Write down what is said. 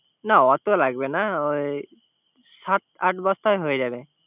না অত লাগবেনা, সাত আট বস্তায় হয়ে যাবে